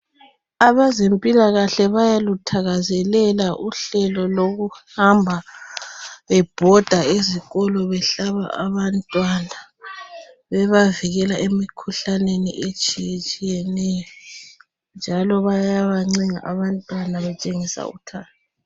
Abezempilakahle bayaluthakazelela uhlelo lokuhamba bebhoda ezikolo behlaba abantwana bebavikela emikhuhlaneni etshiyetshiyeneyo njalo bayabancenga abantwana batshengisa uthando.